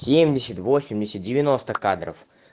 семьдесят восемьдесят девяносто кадров